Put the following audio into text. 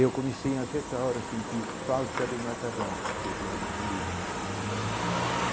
Eu comecei a certa hora a sentir falta do macarrão que eu tinha diminuído.